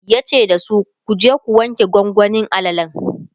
yace dasu"kuje ku wanke gwangwanin alalan!"